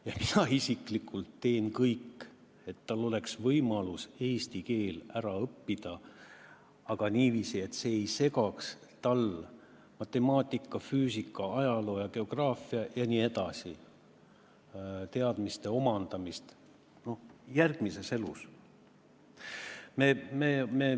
Ja mina isiklikult teen kõik, et tal oleks võimalus eesti keel ära õppida, aga niiviisi, et see ei segaks tal matemaatika, füüsika, ajaloo, geograafia jne teadmiste omandamist tulevases elus.